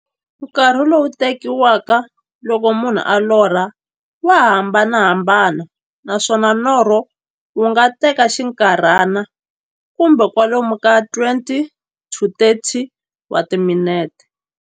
Nkarhi lowu tekiwaka loko munhu a lorha, wa hambanahambana, naswona norho wu nga teka xinkarhana, kumbe kwalomu ka 20-30 wa timinete.